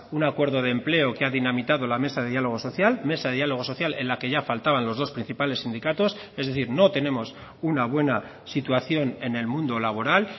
un acuerdo de empleo que ha dinamitado la mesa de diálogo social mesa de diálogo social en la que ya faltaban los dos principales sindicatos es decir no tenemos una buena situación en el mundo laboral